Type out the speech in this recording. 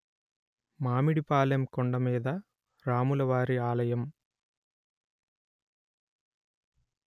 మామిడి పాలెం కొండమీద రాముల వారి ఆలయం